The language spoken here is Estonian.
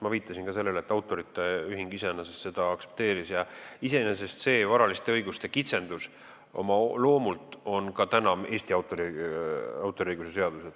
Ma viitasin ka sellele, et autorite ühing iseenesest seda eelnõu aktsepteeris ja see varaliste õiguste kitsendus oma loomult on ka Eesti autoriõiguse seaduses olemas.